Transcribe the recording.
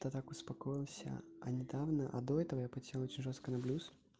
то так успокоился а недавно а до этого я подсел очень жёстко на блюз